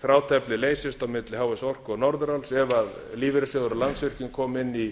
þráteflið leysist á milli h s orku og norðuráls ef lífeyrissjóðir og landsvirkjun koma inn í